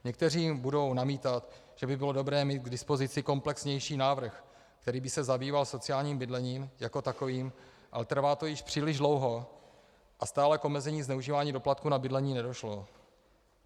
Někteří budou namítat, že by bylo dobré mít k dispozici komplexnější návrh, který by se zabýval sociálním bydlením jako takovým, ale trvá to již příliš dlouho a stále k omezení zneužívání doplatků na bydlení nedošlo.